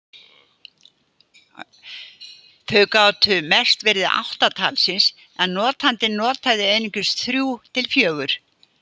Þau gátu mest verið átta talsins en notandinn notaði einungis þrjú til fjögur.